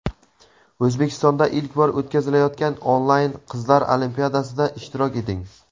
O‘zbekistonda ilk bor o‘tkazilayotgan onlayn "Qizlar olimpiadasi"da ishtirok eting!.